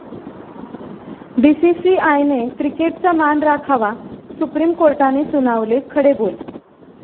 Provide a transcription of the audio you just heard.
बीसीसीआयने क्रिकेटचा मान राखावा, सुप्रीम कोर्टाने सुनावले खडेबोल